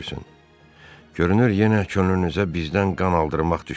Görünür yenə könlünüzə bizdən qan aldırmaq düşüb.